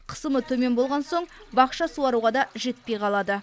қысымы төмен болған соң бақша суаруға да жетпей қалады